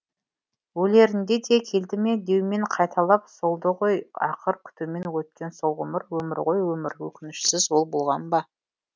өлерінде де келді ме деумен қайталап солды ғой ақыр күтумен өткен сол ғұмыр өмір ғой өмір өкінішсіз ол болған ба